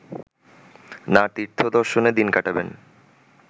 না তীর্থদর্শনে দিন কাটাবেন